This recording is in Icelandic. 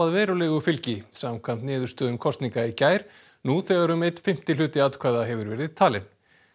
verulegu fylgi samkvæmt niðurstöðum kosninga í gær nú þegar um einn fimmti hluti atkvæða hefur verið talinn